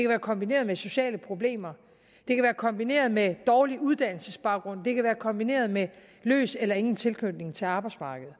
være kombineret med sociale problemer det kan være kombineret med dårlig uddannelsesbaggrund det kan være kombineret med løs eller ingen tilknytning til arbejdsmarkedet